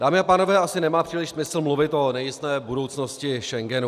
Dámy a pánové, asi nemá příliš smysl mluvit o nejisté budoucnosti Schengenu.